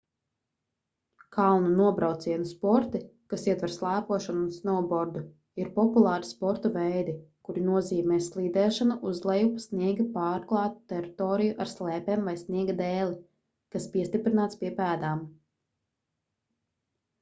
kalnu nobraucienu sporti kas ietver slēpošanu un snovbordu ir populāri sporta veidi kuri nozīmē slīdēšanu uz leju pa sniega pārklātu teritoriju ar slēpēm vai sniega dēli kas piestiprināts pie pēdām